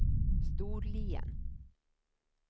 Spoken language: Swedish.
Storlien